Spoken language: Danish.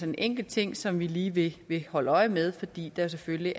en enkelt ting som vi lige vil vil holde øje med fordi der selvfølgelig